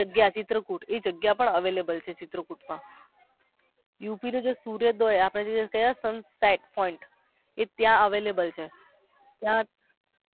ઈ જગ્યા છે ચિત્રકૂટ એ જગ્યા પર availble છે ચિત્રકૂટ મા યુપી નું જે સુરત આપણે sun sit point ત્યા available છે